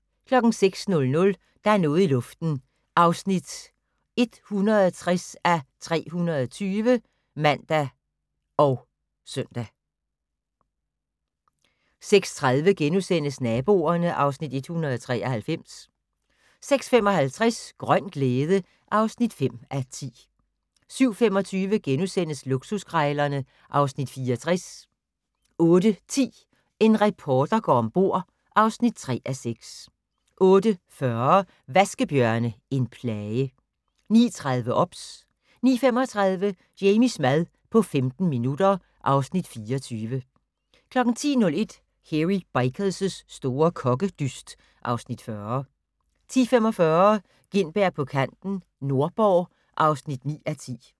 06:00: Der er noget i luften (160:320)(man og søn) 06:30: Naboerne (Afs. 193)* 06:55: Grøn glæde (5:10) 07:25: Luksuskrejlerne (Afs. 64)* 08:10: En reporter går om bord (3:6) 08:40: Vaskebjørne - en plage 09:30: OBS 09:35: Jamies mad på 15 minutter (Afs. 24) 10:01: Hairy Bikers' store kokkedyst (Afs. 40) 10:45: Gintberg på kanten - Nordborg (9:10)